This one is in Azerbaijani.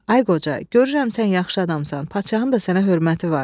Ay qoca, görürəm sən yaxşı adamsan, padşahın da sənə hörməti var.